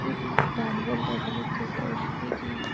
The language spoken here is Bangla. ডাম্বেল দেখা যাচ্ছে দশ কেজি।